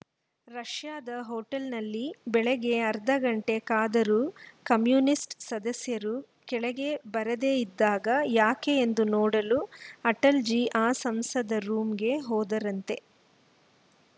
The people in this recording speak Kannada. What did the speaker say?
ರಷ್ಯಾದ ಹೋಟೆಲ್‌ನಲ್ಲಿ ಬೆಳಿಗ್ಗೆ ಅರ್ಧ ಗಂಟೆ ಕಾದರೂ ಕಮ್ಯುನಿಸ್ಟ‌ ಸಂಸದರು ಕೆಳಗೆ ಬರದೇ ಇದ್ದಾಗ ಯಾಕೆ ಎಂದು ನೋಡಲು ಅಟಲಜಿ ಆ ಸಂಸದರ ರೂಮ್ ಗೆ ಹೋದರಂತೆ